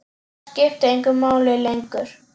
Það skipti engu máli lengur.